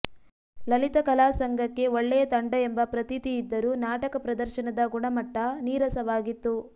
ಲಲಿತ ಕಲಾಸಂಘಕ್ಕೆ ಒಳ್ಳೆಯ ತಂಡ ಎಂಬ ಪ್ರತೀತಿ ಇದ್ದರೂ ನಾಟಕ ಪ್ರದರ್ಶನದ ಗುಣಮಟ್ಟ ನೀರಸವಾಗಿತ್ತು